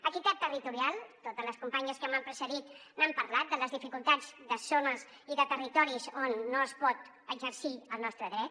equitat territorial totes les companyes que m’han precedit n’han parlat de les dificultats de zones i de territoris on no es pot exercir el nostre dret